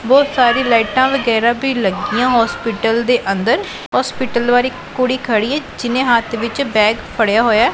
ਬਹੁਤ ਸਾਰੀ ਲਾਈਟਾਂ ਵਗੈਰਾ ਵੀ ਲੱਗੀਆਂ ਹੋਸਪਿਟਲ ਦੇ ਅੰਦਰ ਹੋਸਪਿਟਲ ਵਾਲੀ ਕੁੜੀ ਖੜੀ ਏ ਜਿਹਨੇ ਹੱਥ ਵਿੱਚ ਬੈਗ ਫੜਿਆ ਹੋਇਐ।